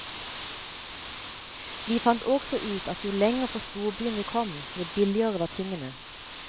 Vi fant også ut at jo lenger fra storbyen vi kom, jo billigere var tingene.